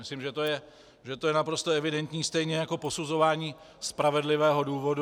Myslím, že to je naprosto evidentní, stejně jako posuzování spravedlivého důvodu.